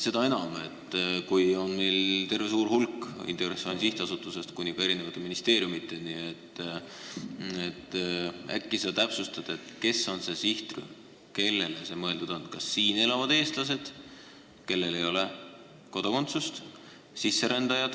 Seda enam, kui meil on neid suur hulk, Integratsiooni Sihtasutusest eri ministeeriumideni, äkki sa täpsustad, milline on see sihtrühm, kellele see õpe mõeldud on: kas siin elavad eestlased, kellel ei ole kodakondsust, või sisserändajad?